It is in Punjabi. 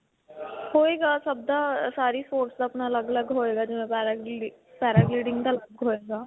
ਹੋਏਗਾ ਸਭ ਦਾ, ਸਾਰੀ sports ਦਾ, ਆਪਣਾ ਅਲਗ-ਅਲਗ ਹੋਏਗਾ ਜਿਵੇਂ paragliding ਦਾ ਅਲਗ ਹੋਏਗਾ.